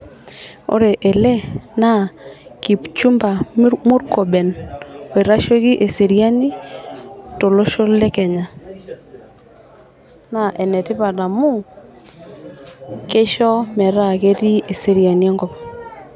Ore ele naa kipchumba murkomen oitasheki eseriani tolosho le kenya naa enetipat amu kisho metaa ketii eseriani enkop.